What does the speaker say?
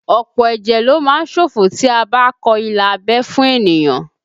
Ọ̀pọ̀ ẹ̀jẹ̀ lo má ń ṣòfò tí a bá kọ ilà abẹ́ fún ènìyàn